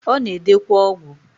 Ona edekwa ogwu.